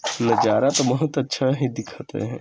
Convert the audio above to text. नज़ारा तो बहुत अच्छा है दिखत है।